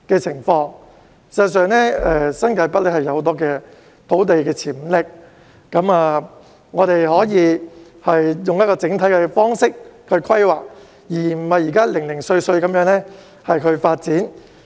事實上，新界北有很大的土地發展潛力，我們可以用整體的方式規劃，而不是像現時般零碎地發展。